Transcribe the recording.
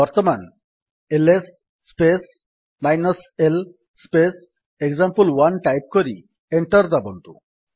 ବର୍ତ୍ତମାନ L S space l space example one type କରି enter ଦାବନ୍ତୁ